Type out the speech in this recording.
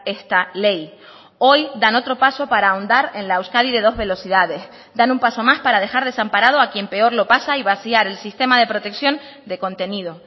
esta ley hoy dan otro paso para ahondar en la euskadi de dos velocidades dan un paso más para dejar desamparado a quien peor lo pasa y vaciar el sistema de protección de contenido